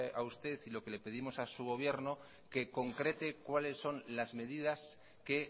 a usted lo que le pedimos a su gobierno que concrete cuáles son las medidas que